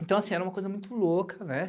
Então, assim, era uma coisa muito louca, né?